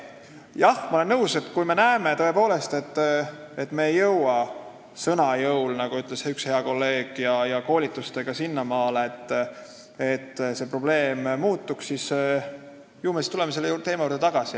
Jah, ma olen nõus, kui me tõepoolest näeme, et me ei jõua sõna jõul, nagu ütles üks hea kolleeg, ja koolituste abil sinnamaale, et see olukord muutuks, siis me tuleme selle teema juurde tagasi.